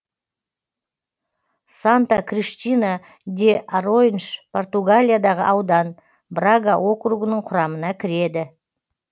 санта криштина де аройнш португалиядағы аудан брага округінің құрамына кіреді